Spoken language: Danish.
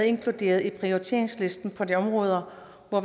inkluderet i prioriteringslisten på de områder hvor